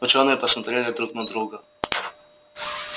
учёные посмотрели друг на друга